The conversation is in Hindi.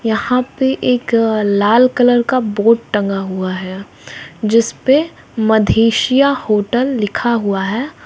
यहां पे एक लाल कलर का बोर्ड टंगा हुआ है जिसपे मद्धेशिया होटल लिखा हुआ है।